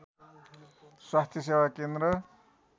स्वास्थ्य सेवा केन्द्र